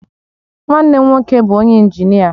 Nwanne m nwoke bu onye injinia